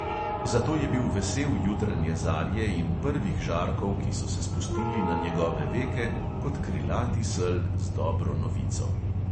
Zato je bil vesel jutranje zarje in prvih žarkov, ki so se spustili na njegove veke kot krilati sel z dobro novico.